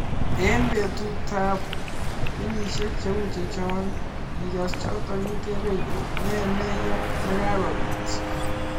Eng petut ak kenyisiek cheu Chechok, ngigass chotok itebee ilee nee nee neyaa nekakopiit